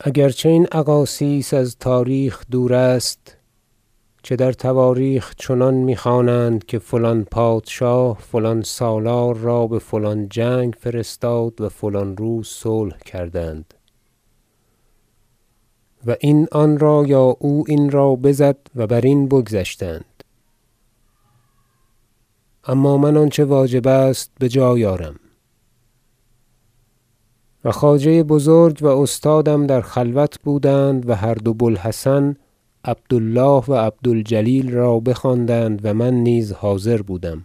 اگر چه این اقاصیص از تاریخ دور است چه در تواریخ چنان میخوانند که فلان پادشاه فلان سالار را بفلان جنگ فرستاد و فلان روز صلح کردند و این آنرا یا او این را بزد و برین بگذشتند اما من آنچه واجب است بجای آرم و خواجه بزرگ و استادم در خلوت بودند و هر دو بوالحسن عبد الله و عبد الجلیل را بخواندند و من نیز حاضر بودم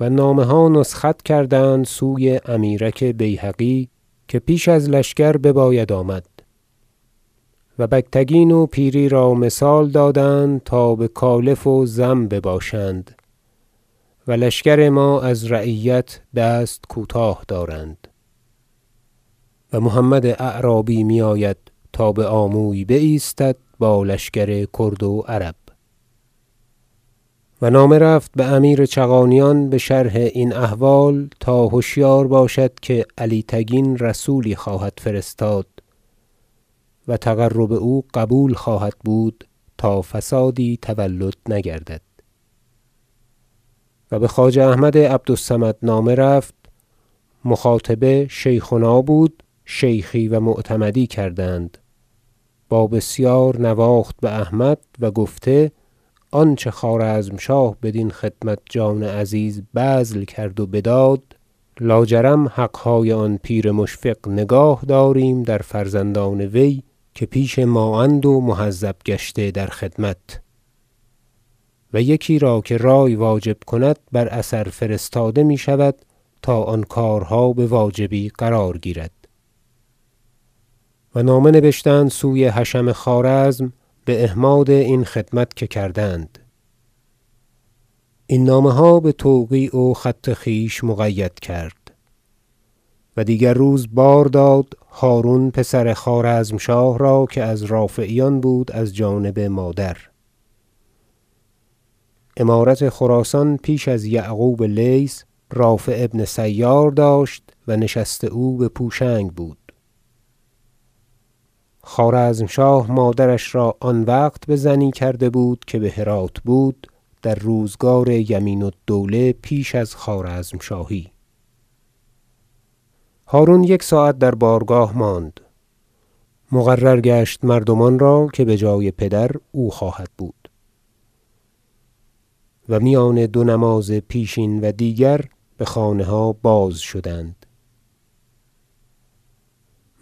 و نامه ها نسخت کردند سوی امیرک بیهقی که پیش از لشکر بباید آمد و بگتگین و پیری را مثال دادند تا بکالف و زم بباشند و لشکر ما از رعیت دست کوتاه دارند و محمد اعرابی میآید تا بآموی بایستد با لشکر کرد و عرب و نامه رفت بامیر چغانیان بشرح این احوال تا هشیار باشد که علی تگین رسولی خواهد فرستاد و تقرب او قبول خواهد بود تا فسادی تولد نگردد و بخواجه احمد عبد الصمد نامه رفت- مخاطبه شیخنا بود شیخی و معتمدی کردند- و با بسیار نواخت باحمد و گفته آنچه خوارزمشاه بدین خدمت جان عزیز بذل کرد و بداد لاجرم حقهای آن پیر مشفق نگاه داریم در فرزندان وی که پیش ما اند و مهذب گشته در خدمت و یکی را که رأی واجب کند بر اثر فرستاده میشود تا آن کارها بواجبی قرار گیرد و نامه نبشته آمد سوی حشم خوارزم باحماد این خدمت که کردند این نامه ها بتوقیع و خط خویش مقید کرد و دیگر روز بار داد هرون پسر خوارزمشاه را که از رافعیان بود از جانب مادر- امارت خراسان پیش از یعقوب لیث رافع بن سیار داشت و نشست او بپوشنگ بود خوارزمشاه مادرش را آن وقت بزنی کرده بود که بهرات بود در روزگار یمین الدوله پیش از خوارزمشاهی- هرون یک ساعت در بارگاه ماند مقرر گشت مردمان را که بجای پدر او خواهد بود و میان دو نماز پیشین و دیگر بخانه ها بازشدند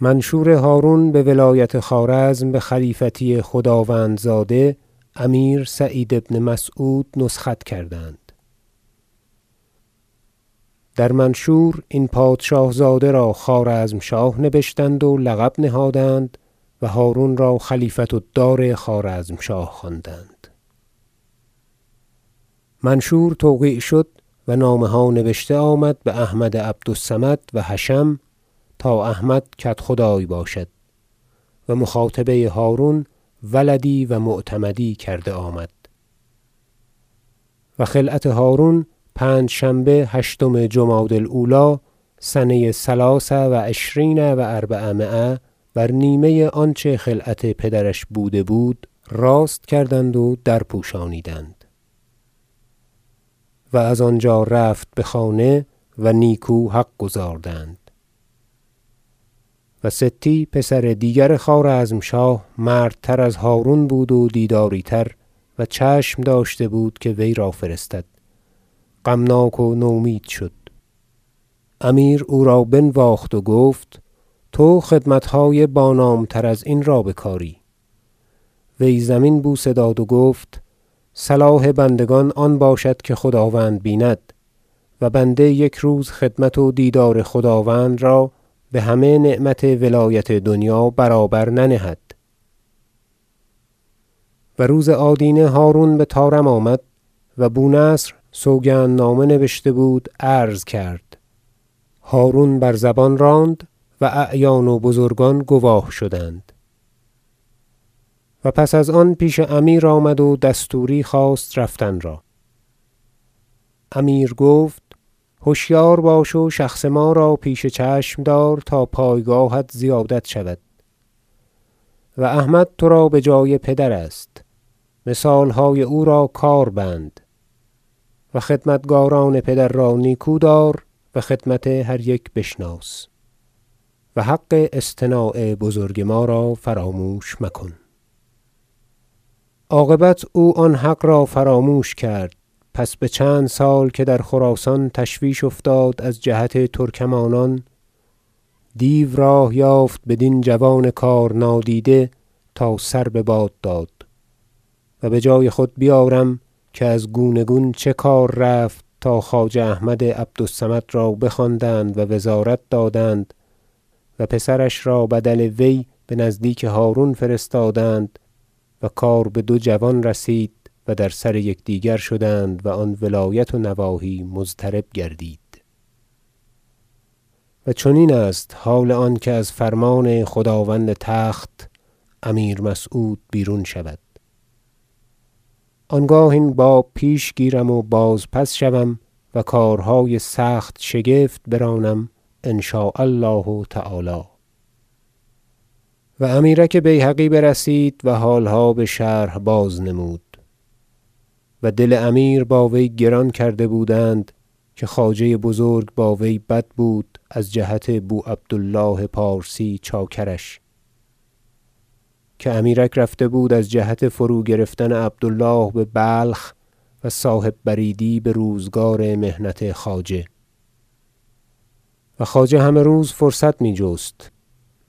منشور هرون بولایت خوارزم بخلیفتی خداوندزاده امیر سعید بن مسعود نسخت کردند در منشور این پادشاه زاده را خوارزمشاه نبشتند و لقب نهادند و هرون را خلیفة الدار خوارزمشاه خواندند منشور توقیع شد و نامه ها نبشته آمد به احمد عبد الصمد و حشم تا احمد کدخدای باشد مخاطبه هرون ولدی و معتمدی کرده آمد و خلعت هرون پنجشنبه هشتم جمادی الأولی سنه ثلث و عشرین و اربعمایه بر نیمه آنچه خلعت پدرش بوده بود راست کردند و درپوشانیدند و از آنجا رفت بخانه و نیکو حق گزاردند وستی پسر دیگر خوارزمشاه مردتر از هرون بود و دیداری تر و چشم داشته بود که وی را فرستد غمناک و نومید شد امیر او را بنواخت و گفت تو خدمتهای با نام تر ازین را بکاری وی زمین بوسه داد و گفت صلاح بندگان آن باشد که خداوند بیند و بنده یک روز خدمت و دیدار خداوند را بهمه نعمت ولایت دنیا برابر ننهد و روز آدینه هرون بطارم آمد و بونصر سوگند نامه نبشته بود عرض کرد و هرون بر زبان راند و اعیان و بزرگان گواه شدند و پس از آن پیش امیر آمد و دستوری خواست رفتن را امیر گفت هشیار باش و شخص ما را پیش چشم دار تا پایگاهت زیادت شود و احمد تو را بجای پدر است مثالهای او را کاربند و خدمتکاران پدر را نیکو دار و خدمت هر یک بشناس و حق اصطناع بزرگ ما را فراموش مکن عاقبت او آن حق را فراموش کرد پس بچند سال که در خراسان تشویش افتاد از جهت ترکمانان دیو راه یافت بدین جوان کار نادیده تا سر بباد داد و بجای خود بیارم که از گونه گون چه کار رفت تا خواجه احمد عبد الصمد را بخواندند و وزارت دادند و پسرش را بدل وی بنزدیک هرون فرستادند و کار به دو جوان رسید و در سر یکدیگر شدند و آن ولایت و نواحی مضطرب گردید و چنین است حال آن که از فرمان خداوند تخت امیر مسعود بیرون شود آنگاه این باب پیش گیرم و بازپس شوم و کارهای سخت شگفت برانم ان شاء الله تعالی و امیرک بیهقی برسید و حالها بشرح بازنمود و دل امیر با وی گران کرده بودند که خواجه بزرگ با وی بد بود از جهت بو عبد الله پارسی چاکرش که امیرک رفته بود از جهت فروگرفتن عبد الله ببلخ و صاحب بریدی بروزگار محنت خواجه و خواجه همه روز فرصت می جست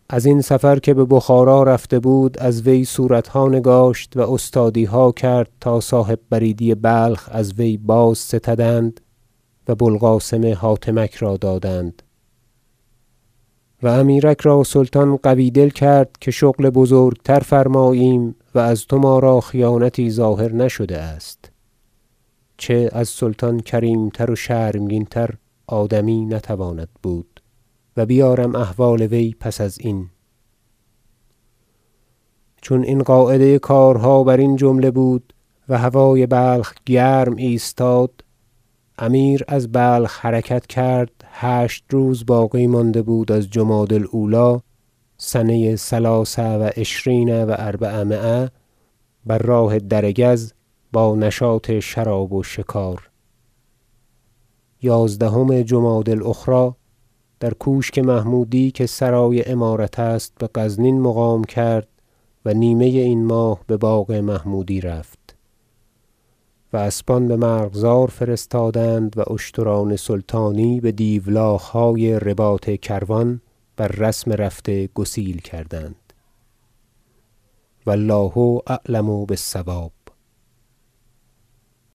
ازین سفر که ببخارا رفته بود از وی صورتها نگاشت و استادیها کرد تا صاحب بریدی بلخ از وی بازستدند و بوالقاسم حاتمک را دادند و امیرک را سلطان قوی دل کرد که شغل بزرگتر فرماییم و از تو ما را خیانتی ظاهر نشده است چه از سلطان کریمتر و شرمگین تر آدمی نتواند بود و بیارم احوال وی پس ازین چون این قاعده کارها برین جمله بود و هوای بلخ گرم ایستاد امیر از بلخ حرکت کرد هشت روز باقی مانده بود از جمادی الأولی سنه ثلاث و عشرین و اربعمایه بر راه دره گز با نشاط شراب و شکار یازدهم جمادی الأخری در کوشک محمودی که سرای امارت است بغزنین مقام کرد و نیمه این ماه بباغ محمودی رفت و اسبان بمرغزار فرستادند و اشتران سلطانی بدیولاخهای رباط کروان بر رسم رفته گسیل کردند و الله اعلم بالصواب